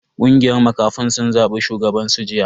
Kungiyar makafin sun zabi shugaban su jiya.